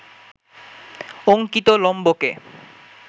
অঙ্কিত লম্বকে